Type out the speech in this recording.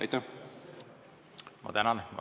Tänan!